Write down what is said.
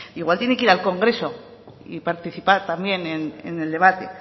igual tiene que ir al congreso y participar también en el debate